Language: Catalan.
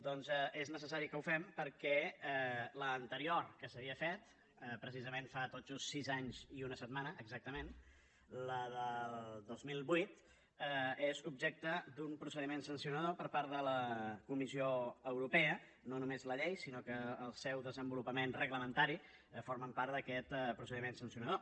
doncs és necessari que ho fem perquè l’anterior que s’havia fet precisament fa tot just sis anys i una setmana exactament la del dos mil vuit és objecte d’un procediment sancionador per part de la comissió europea no només la llei sinó que el seu desenvolupament reglamentari forma part d’aquest procediment sancionador